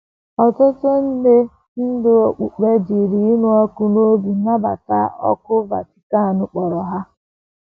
Ọtụtụ ndị ndú okpukpe jiri ịnụ ọkụ n’obi nabata òkù Vatican kpọrọ ha.